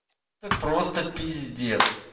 это просто пиздец